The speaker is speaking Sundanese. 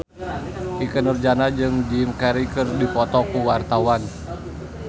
Ikke Nurjanah jeung Jim Carey keur dipoto ku wartawan